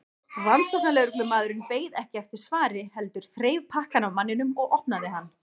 Rannsóknarlögreglumaðurinn beið ekki eftir svari heldur þreif pakkann af manninum og opnaði hann.